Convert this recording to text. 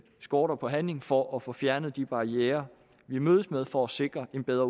skorte på handling for at få fjernet de barrierer vi mødes med for at sikre en bedre